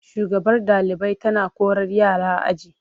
Shugabar ɗalibai tana korar yara aji.